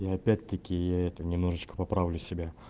и опять такие я это немножечко поправлю себя